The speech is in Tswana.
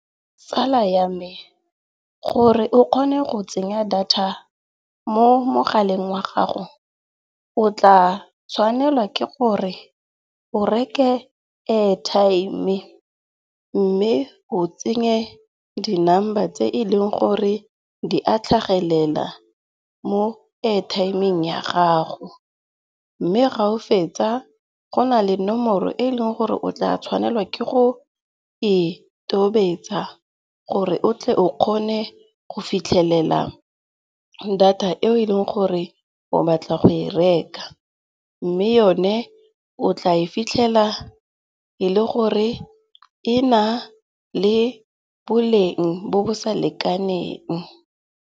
Tsala ya me, gore o kgone go tsenya data mo mogaleng wa gago o tla tshwanela ke gore o reke airtime-e. Mme o tsenye di number tse e leng gore di a tlhagelela mo airtime-eng ya gago. Mme ga o fetsa go na le nomoro e leng gore o tla tshwanela ke go e tobetsa gore o tle o kgone go fitlhelela data eo e leng gore o batla go e reka. Mme yone o tla e fitlhela e le gore e na le boleng bo bo sa lekaneng.